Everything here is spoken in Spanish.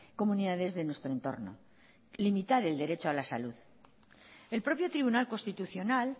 comunidades de nuestro entorno limitar el derecho a la salud el propio tribunal constitucional